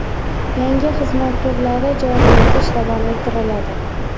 Yangi xizmat turlari joriy etish davom ettiriladi.